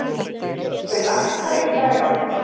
Rökkvi, lækkaðu í græjunum.